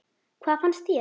Hvað fannst mér?